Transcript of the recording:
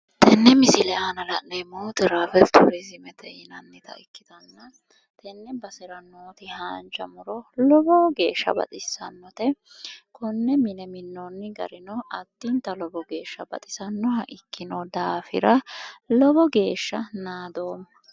Tenne misile aana la'neemmohu teravel turizimete yinannita ikkitanna tenne basera nooti haanja muro lowo geeshsha baxissannote. konne mine minnoonni garino addinta lowo geeshsha baxisannoha ikkino daafira lowo geeshsha naadoomma.